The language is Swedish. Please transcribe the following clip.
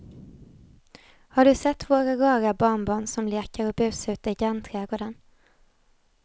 Har du sett våra rara barnbarn som leker och busar ute i grannträdgården!